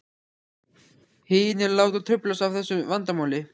Hinir láta truflast af þessu vandamáli.